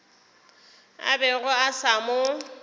a bego a sa mo